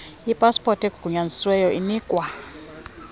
ipaspoti egunyazisiweyo inikwa